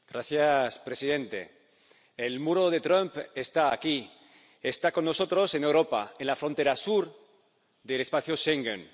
Señor presidente, el muro de Trump está aquí, está con nosotros en Europa, en la frontera sur del espacio Schengen.